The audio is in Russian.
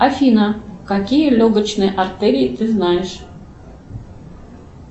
афина какие легочные артерии ты знаешь